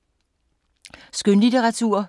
Skønlitteratur